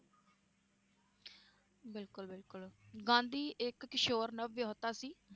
ਬਿਲਕੁਲ ਬਿਲਕੁਲ ਗਾਂਧੀ ਇਕ ਕਿਸ਼ੋਰ ਨਵਵੇਹੋਤਾ ਸੀ